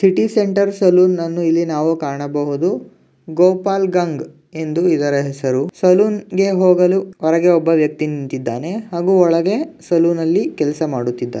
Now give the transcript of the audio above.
City centre ಸಲೂನ್ನನ್ನು ಇಲ್ಲಿ ನಾವು ಕಾಣಬಹುದು. ಗೋಪಾಲ್ ಗಂಗ್ ಎಂದು ಇದರ ಹೆಸರು. ಸಲೂನ್ಗೆ ಹೋಗಲು ಹೊರಗೆ ಒಬ್ಬ ವ್ಯಕ್ತಿ ನಿಂತಿದ್ದಾನೆ ಹಾಗು ಒಳಗೆ ಸಲೂನ್ ಅಲ್ಲಿ ಕೆಲಸ ಮಾಡುತ್ತಿದ್ದಾರೆ.